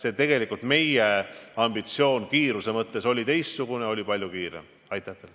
Aga tegelikult oli meie ambitsioon teistsugune, soov oli palju kiiremini see ära teha.